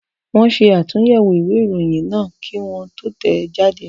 Wọ́n ṣe àtúnyẹ̀wò ìwé ìròyìn náà kí wọ́n tó tẹ̀ ẹ́ jáde.